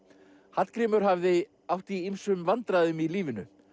Hallgrímur hafði átt í ýmsum vandræðum í lífinu